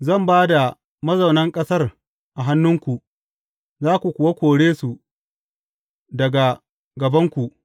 Zan ba da mazaunan ƙasar a hannunku, za ku kuwa kore su daga gabanku.